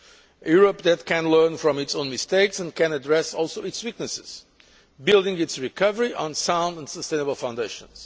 A Europe that can learn from its own mistakes and can also address its weaknesses, building its recovery on sound and sustainable foundations.